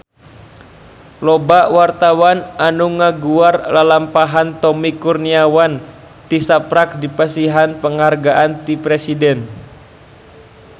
Loba wartawan anu ngaguar lalampahan Tommy Kurniawan tisaprak dipasihan panghargaan ti Presiden